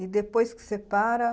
E depois que você para?